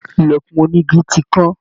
Ìlèkùn onigi ti kán.